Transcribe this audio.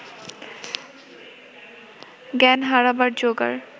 জ্ঞান হারাবার জোগাড়